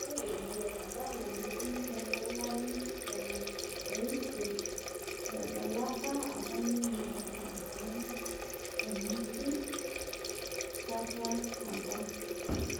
Ore ilo adalani lempira loolarin tomon osiet etadalaka apa ninye Erankau tenaki kata apa